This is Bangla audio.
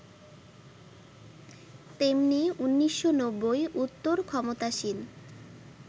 তেমনি ১৯৯০ উত্তর ক্ষমতাসীন